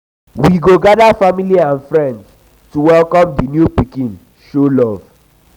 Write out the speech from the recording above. we go gather family and friends to welcome di new pikin show love.